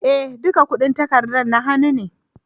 Eh, duka kudin takarda na hannu na.